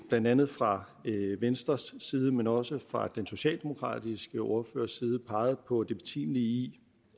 blandt andet fra venstres side men også fra den socialdemokratiske ordførers side peget på det betimelige i